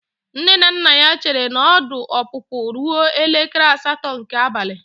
Nne na nna ya chere na ọdụ ọpụpụ ruo elekere asatọ nke abalị.